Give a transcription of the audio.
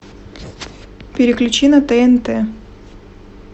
переключи на тнт